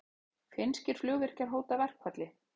Finnskir flugvirkjar hóta verkfalli